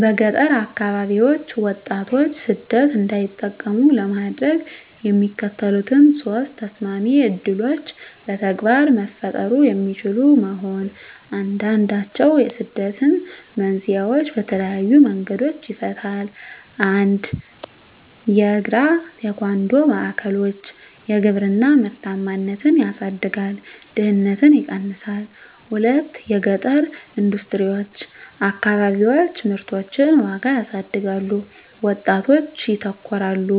በገጠር አከባቢዎች ወጣቶች ሰደት እንዳይጠቀሙ ለማድረግ፣ የሚከተሉት ሶስት ተሰማሚ ዕድሎች በተግባር መፈጠሩ የሚችሉ መሆን፣ አንዱንድችዉ የስደትን መንስኤዎች በተለየዪ መንገዶች ይፈታል። 1 የእግራ-ቴኳንዶ ማዕከሎች _የግብርና ምርታማነትን ያሳድጋል፣ ድህነትን ይቀነሳል። 2 የገጠረ ኢንደስትሪዎች_ አከባቢዎች ምርቶችን ዋጋ ያሳድጋሉ፣ ወጣቶች ያተኮራሉ።